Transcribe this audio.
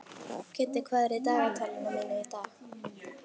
Kiddi, hvað er í dagatalinu mínu í dag?